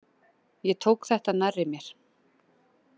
Ég tók þetta nærri mér.